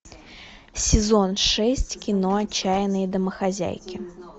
сезон шесть кино отчаянные домохозяйки